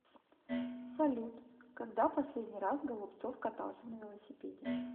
салют когда последний раз голубцов катался на велосипеде